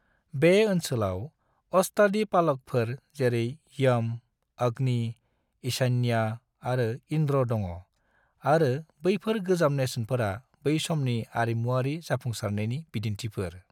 बे ओनसोलाव अष्टादिक्पालकफोर जेरै यम, अग्नि, ईशान्या आरो इन्द्र दङ आरो बैफोर गोजाम नेरसोनफोरा बै समनि आरिमुवारि जाफुंसारनायनि बिदिन्थिफोर।